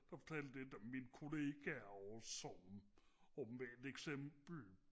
der fortalte lidt om mine kollegaer også som om et eksempel